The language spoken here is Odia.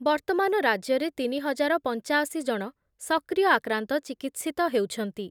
ବର୍ତ୍ତମାନ ରାଜ୍ୟରେ ତିନି ହଜାର ପଂଚାଅଶି ଜଣ ସକ୍ରିୟ ଆକ୍ରାନ୍ତ ଚିକିତ୍ସିତ ହେଉଛନ୍ତି ।